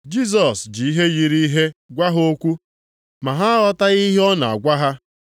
Jisọs ji ihe yiri ihe gwa ha okwu. Ma ha aghọtaghị ihe ọ nọ na-agwa ha.